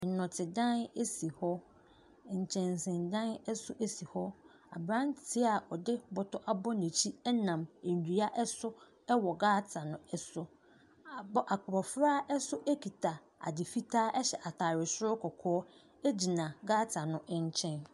Nnɔtedan si hɔ. Nkyɛnsedan nso si hɔ. Aberanteɛ a ɔde bɔtɔ abɔ n'akyi nam nnua so wɔ gutter no so. Abɔ abɔfra nso kita ade fitaa hyɛ atadeɛ soro kɔkɔɔ gyina gutter no nkyɛn.